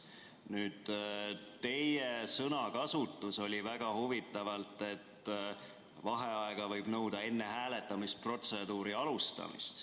Nüüd, teie sõnakasutus oli väga huvitav, et vaheaega võib nõuda enne hääletamisprotseduuri alustamist.